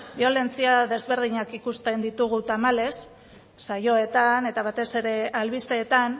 biolentzia ezberdinak ikusten ditugu tamalez saioetan eta batez ere albisteetan